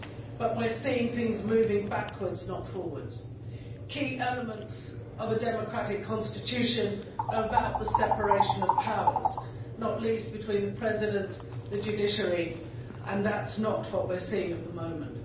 But we are seeing things moving backwards, not forwards. Key elements of a democratic constitution are the separation of powers, not least between the President and the judiciary, and that is not what we are seeing at the moment.